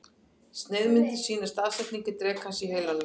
Sneiðmyndin sýnir staðsetningu drekans í heilanum.